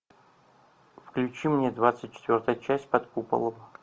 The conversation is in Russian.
включи мне двадцать четвертая часть под куполом